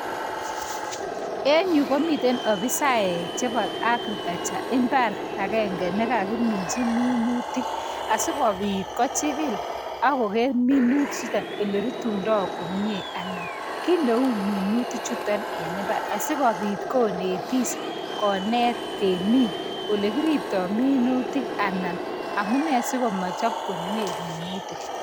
En yu komiten ofisaek chebo agriculture imbar agenge nega kimin tuminutik asigo pit kochigil ago geminut chito ele rutundo komie